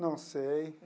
Não sei.